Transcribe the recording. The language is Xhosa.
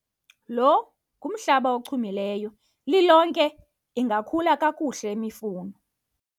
lo ngumhlaba ochumileyo, lilonke ingakhula kakuhle imifuno